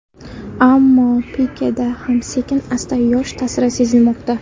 Ammo Pikeda ham sekin-asta yosh ta’siri sezilmoqda.